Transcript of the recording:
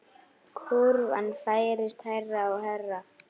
Kúrfan færist hærra og hærra.